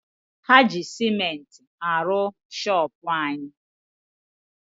Ha ji sementi aru shoopu anyi.